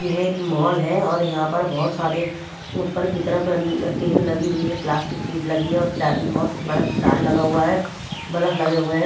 यह एक मॉल है और यहां पर बहुत सारे ऊपर की तरफ टीन लगी हुई है प्लास्टिक शीट लगी है और बहुत बड़ा जाल लगा हुआ है बल्फ लगे हुए हैं।